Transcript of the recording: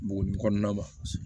Bogo kɔnɔna ma